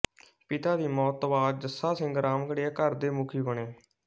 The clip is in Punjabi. ਪਿਤਾ ਦੀ ਮੌਤ ਤੋਂ ਬਾਅਦ ਜੱਸਾ ਸਿੰਘ ਰਾਮਗੜ੍ਹੀਆ ਘਰ ਦੇ ਮੁਖੀ ਬਣੇ